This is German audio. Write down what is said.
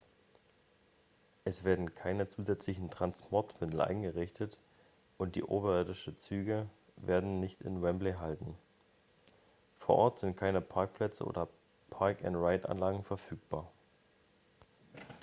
es werden keine zusätzlichen transportmittel eingerichtet und die oberirdischen züge werden nicht in wembley halten vor ort sind keine parkplätze oder park-and-ride-anlagen verfügbar